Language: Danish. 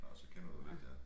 Nå så kender du lidt ja